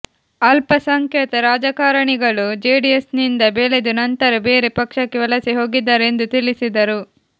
ಅಲ್ಪಸಂಖ್ಯಾತ ರಾಜಕಾರಣಿಗಳು ಜೆಡಿಎಸ್ನಿಂದ ಬೆಳೆದು ನಂತರ ಬೇರೆ ಪಕ್ಷಕ್ಕೆ ವಲಸೆ ಹೋಗಿದ್ದಾರೆ ಎಂದು ತಿಳಿಸಿದರು